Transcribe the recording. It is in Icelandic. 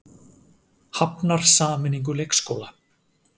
Hafnar sameiningu leikskóla